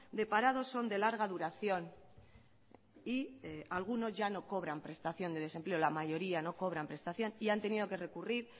de parados son de larga duración y algunos ya no cobran prestación de desempleo la mayoría no cobran prestación y han tenido que recurrir